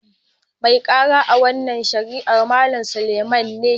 Mai karan a' wanan shari'an Mallam Suleiman ne.